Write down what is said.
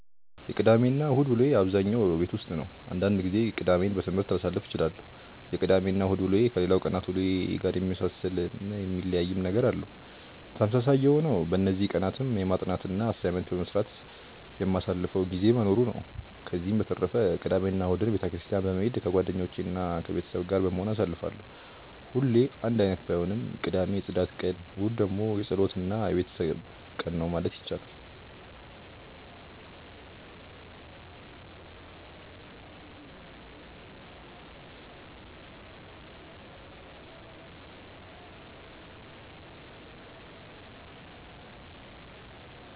የቅዳሜ እና እሁድ ውሎዬ በአብዛኛው ቤት ውስጥ ነው። አንዳንድ ጊዜ ቅዳሜን በትምህርት ላሳልፍ እችላለሁ። የቅዳሜ እና እሁድ ውሎዬ ከሌላው ቀናት ውሎዬ ጋር የሚመሳሰልም የሚለያይም ነገር አለው። ተመሳሳይ የሆነው በእነዚህ ቀናትም በማጥናት እና አሳይመንት በመስራት የማሳልፈው ጊዜ መኖሩ ነው። ከዚህ በተረፈ ቅዳሜ እና እሁድን ቤተ ክርስትያን በመሄድ ከጓደኞቼ እና ከቤተሰብ ጋር በመሆን አሳልፋለሁ። ሁሌ አንድ አይነት ባይሆንም ቅዳሜ የፅዳት ቀን እሁድ ደግሞ የፀሎት እና የቤተሰብ ቀን ነው ማለት ይቻላል።